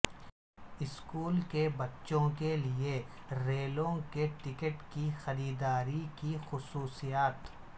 school کے بچوں کے لئے ریلوے کے ٹکٹ کی خریداری کی خصوصیات